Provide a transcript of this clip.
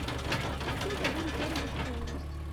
купить один тенге стоимость